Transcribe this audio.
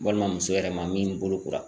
Walima muso yɛrɛ ma min bolokora.